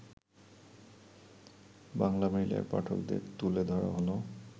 বাংলামেইলের পাঠকদের তুলে ধরা হলো